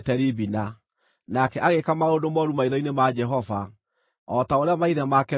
Nake agĩĩka maũndũ mooru maitho-inĩ ma Jehova, o ta ũrĩa maithe make meekĩte.